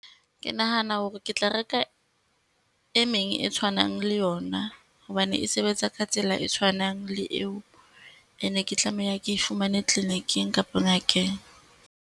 Ke nahana hore ke tla reka e meng e tshwanang le yona, hobane e sebetsa ka tsela e tshwanang le eo. E ne ke tlameha ke e fumane kliniking kapa ngakeng.